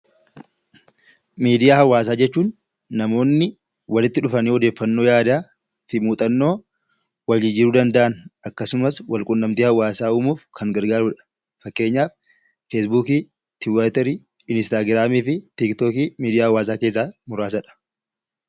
Miidiyaa hawaasaa jechuun namoonni walitti dhufanii odeeffannoo yaadaa fi muuxannoo wal jijjiiruu danda'an akkasumas wal quunnamtii hawaasaa uumuuf kan gargaarudha. Fakkeenyaaf feesbuukii, tiwiitarii, instaagiraamii fi tiiktookii miidiyaa hawaasaa keessaa muraasadha.